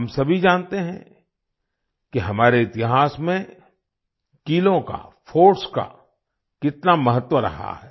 हम सभी जानते हैं कि हमारे इतिहास में किलों का फोर्ट्स का कितना महत्व रहा है